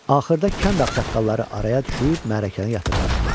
Axırda kənd ağsaqqalları araya düşüb mərrəkəni yatırtmışdılar.